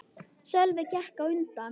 Sölvi gekk á undan.